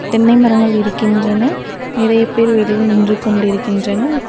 தென்னை மரங்கள் இருக்கின்றன நிறைய பேரு வெளியே நின்று கொண்டிருக்கின்றனர்.